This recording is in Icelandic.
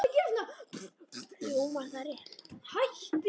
Hljómar það rétt?